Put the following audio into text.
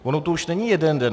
On už to není jeden den.